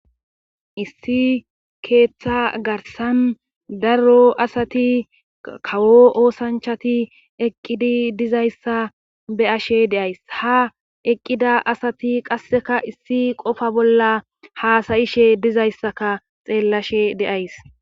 Issi keeththa garsan daro asati kawo oosanchati eqqidi dizayssa be ashe deays ha eqqida asati qasseka issi qofa bolla haasayishe dizayssaka xeellashe de7ays.